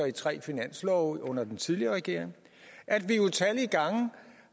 i tre finanslove under den tidligere regering at vi utallige gange